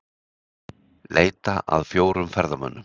Leita að fjórum ferðamönnum